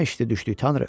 Bu nə işdi düşdük, Tanrı?